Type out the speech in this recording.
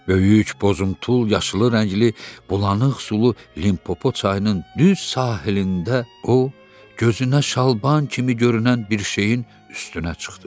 Böyük bozuntul yaşılı rəngli bulanıq sulu Limpopo çayının düz sahilində o, gözünə şalban kimi görünən bir şeyin üstünə çıxdı.